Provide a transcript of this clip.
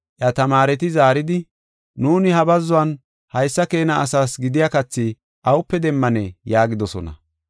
Iya tamaareti zaaridi, “Nuuni ha bazzuwan haysa keena asaas gidiya kathi awupe demmanee?” yaagidosona.